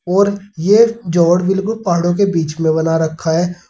और यह जोड़ बिल्कुल पहाड़ों के बीच में बना रखा है।